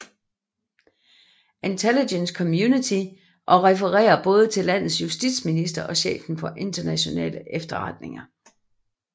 Intelligence Community og refererer både til landets Justitsminister og chefen for nationale efterretninger